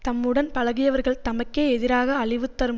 தம்முடன் பழகியவர்கள் தமக்கே எதிராக அழிவுதரும்